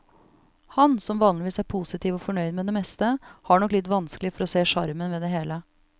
Han, som vanligvis er positiv og fornøyd med det meste, har nok litt vanskelig for å se sjarmen ved det hele.